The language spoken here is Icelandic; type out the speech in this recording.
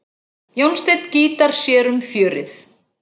Jónsteinn gítar sér um fjörið.